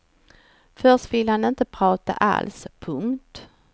Först vill han inte prata alls. punkt